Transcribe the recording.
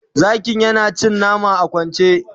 zakin yana cin nama a kwance